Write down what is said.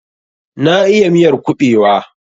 Na iya miyar kubewa.